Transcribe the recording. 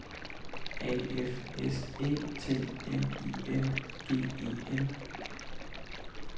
A F S Æ T N I N G E N